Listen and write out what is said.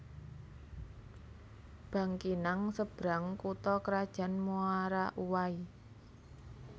Bangkinang Seberang kutha krajan Muara Uwai